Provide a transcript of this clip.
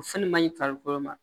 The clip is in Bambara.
O fɛn man ɲi farikolo ma